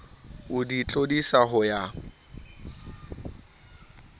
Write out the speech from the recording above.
o di tlodisa ho ya